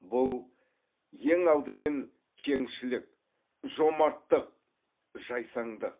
бұл ең алдымен кеңшілік жомарттық жайсаңдық